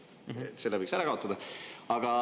Selle võiks ära kaotada.